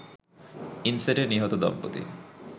ইনসেটে নিহত দম্পতি